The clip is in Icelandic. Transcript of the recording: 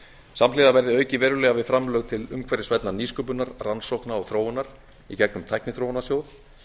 samhliða verði aukið verulega við framlög til umhverfisvænnar nýsköpunar rannsókna og þróunar í gegnum tækniþróunarsjóð